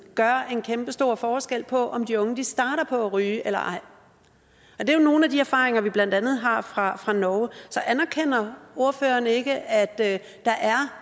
gør en kæmpestor forskel på om de unge starter på at ryge eller ej det jo nogle af de erfaringer vi blandt andet har fra fra norge så anerkender ordføreren ikke at der er